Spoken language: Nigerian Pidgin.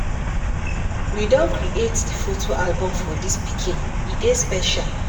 We don create di photo album for dis pikin, e dey special.